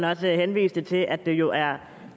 også henviste til at det jo er